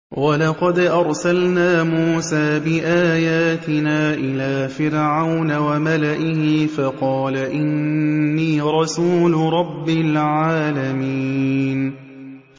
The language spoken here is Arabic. وَلَقَدْ أَرْسَلْنَا مُوسَىٰ بِآيَاتِنَا إِلَىٰ فِرْعَوْنَ وَمَلَئِهِ فَقَالَ إِنِّي رَسُولُ رَبِّ الْعَالَمِينَ